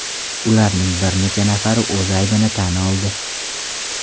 Ularning bir necha nafari o‘z aybini tan oldi.